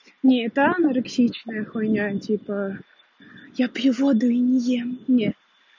не та анарексичная хуйня типа я пью воду и не ем нет